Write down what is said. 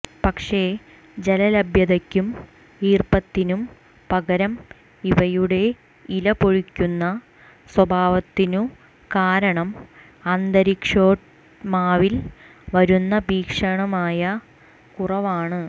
പക്ഷേ ജലലഭ്യതയ്ക്കും ഈർപ്പത്തിനും പകരം ഇവയുടെ ഇല പൊഴിക്കുന്ന സ്വഭാവത്തിനു കാരണം അന്തരീക്ഷോഷ്മാവിൽ വരുന്ന ഭീഷണമായ കുറവാണു്